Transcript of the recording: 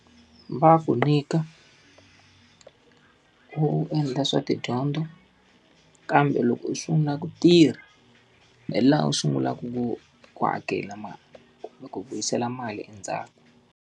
Va ku nyika, u endla swa tidyondzo. Kambe loko u sungula ku tirha, hi laha u sungulaka ku hakela mali ku vuyisela mali endzhaku.